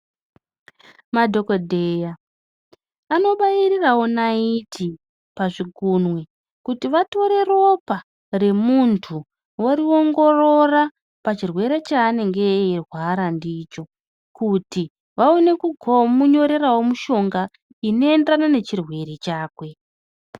MAdhokodheya anobairirawo naiti pazvikunwe kuti vatore ropa remuntu voriongorora pachirwere chanenge eirwara ndicho kuti vaone kumunyorera mushonga unoenderana nechirwere chakwe